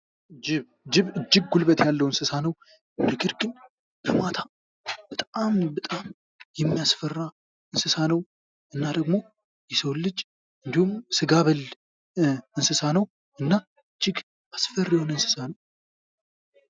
ጅብ ጉልበት ያለው እንስሳ ነው፤ ነገር ግን በማታ በጣም በጣም የሚያስፈራ እንስሳ ነው። እና ደግሞ የሰው ልጅ እንዲሁም ሥጋ በል እንስሳ ነው እና እጅግ አስፈሪ የሆነ እንስሳ ነው።